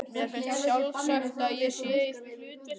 Mér finnst sjálfsagt að ég sé í því hlutverki.